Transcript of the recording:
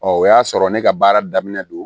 o y'a sɔrɔ ne ka baara daminɛ don